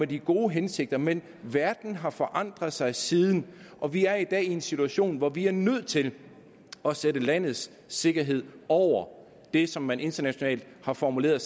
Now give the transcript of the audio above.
de gode hensigter men verden har forandret sig siden og vi er i dag i en situation hvor vi er nødt til at sætte landets sikkerhed over det som man internationalt har formuleret